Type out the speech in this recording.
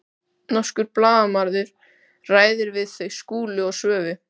Norskur blaðamaður ræðir við þau Skúla og Svövu.